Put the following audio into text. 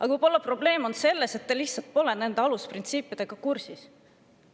Aga võib-olla on probleem selles, et te lihtsalt pole nende alusprintsiipidega kursis.